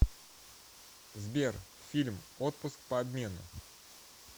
сбер фильм отпуск по обмену